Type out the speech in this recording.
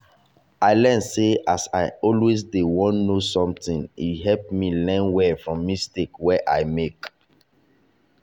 i learn sey as i always dey want know something e help me learn well from mistake wey i make.